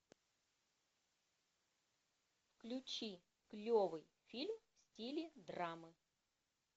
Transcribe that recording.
включи клевый фильм в стиле драмы